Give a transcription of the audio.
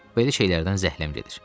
Belə şeylərdən zəhləm gedir.